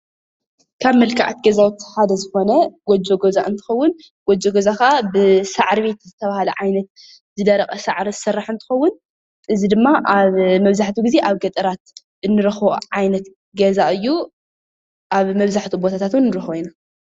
ካብ መልክዓት ገዛ ዝኾነ ጎጆ ገዛ እንትኸዉን ጎጆ ገዛ ካዓ ብሳዕሪ ቤት ዝተባህለ ዓይነት ዝደረቐ ሳዕሪ ዝስራሕ እንትኸዉን እዚ ድማ መብዛሕቲኡ ግዜ ኣብ ገጠራት እንረኸቦ ዓይነት ገዛ እዩ፡፡ ኣብ መብዛሕትኡ ቦታታት እዉን ንረኽቦ ኢና፡፡